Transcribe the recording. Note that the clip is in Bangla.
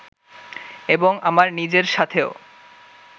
এবং আমার নিজের সাথেও